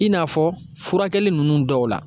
I n'a fɔ furakɛli nunnu dɔw la